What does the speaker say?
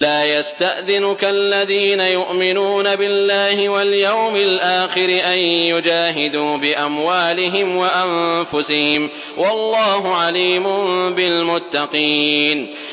لَا يَسْتَأْذِنُكَ الَّذِينَ يُؤْمِنُونَ بِاللَّهِ وَالْيَوْمِ الْآخِرِ أَن يُجَاهِدُوا بِأَمْوَالِهِمْ وَأَنفُسِهِمْ ۗ وَاللَّهُ عَلِيمٌ بِالْمُتَّقِينَ